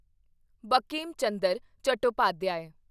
Bankim Chandra Chattopadhyay